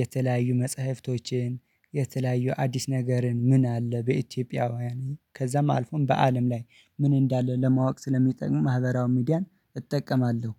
የተለያዩ መጽሐፍቶችን የተለያዩ አዲስ ነገርን ምን አለ? በኢትዮጵያውያን ከዛም አልፎም በአለም ላይ ምን እንዳለ? ለማወቅ ስለሚጠቅም ማህበራዊ ሚዲያን እጠቀማለሁ